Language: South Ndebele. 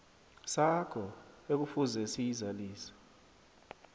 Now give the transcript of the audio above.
sakho ekufuze siyizalise